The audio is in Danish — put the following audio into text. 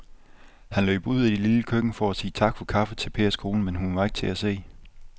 Han løb ud i det lille køkken for at sige tak for kaffe til Pers kone, men hun var ikke til at se.